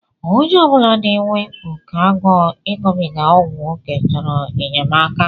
Onye obula na-enwe oke agụụ iṅụbiga ọgwụ oké chọrọ enyemaka.